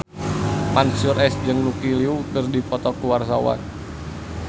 Mansyur S jeung Lucy Liu keur dipoto ku wartawan